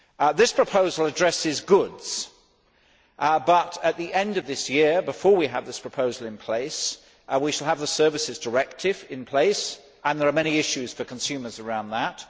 This proposal addresses goods but, at the end of this year, before we have this proposal in place, we shall have the Services Directive in place and there are many issues for consumers around that.